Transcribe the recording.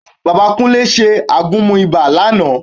Bẹ́ẹ̀ ni, Bàbá Kúnlé ṣe àgúnmu ibà lánàá